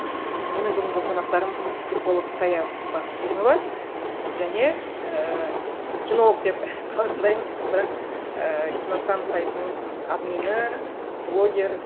менің бүгінгі қонақтарым психолог сая бакинова және ііі кинолог деп қалжыңдаймыз бірақ ііі киностан сайтының админы блогер